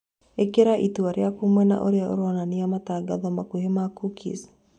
Īkĩra itua rĩaku mwena ũria uronania matangatho makũhĩ ma cookies